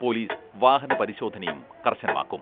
Police വാഹന പരിശോധനയും കർശനമാക്കും.